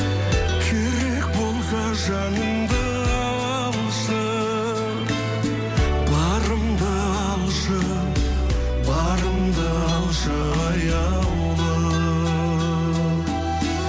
керек болса жанымды алшы барымды алшы барымды алшы аяулым